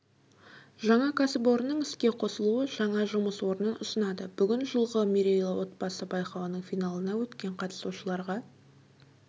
жаңа кәсіпорынның іске қосылуы жаңа жұмыс орнын ұсынады бүгін жылғы мерейлі отбасы байқауының финалына өткен қатысушыларға